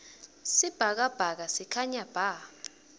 sibhakabhaka sikhanya bha